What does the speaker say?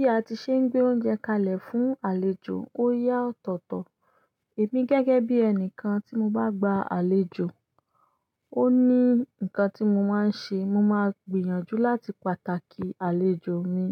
Bí a ti ṣe ń gbé oúnjẹ kalẹ̀ fún àlejò, ó yá ọ̀tọ̀ọ̀tọ̀. Èmi gẹ́gẹ́ bí ẹni kan tí mo bá gba àlejò, ó ní nǹkan tí mo máa ń ṣe. Mo máa gbìyànjú láti pàtàkì àlejò mi.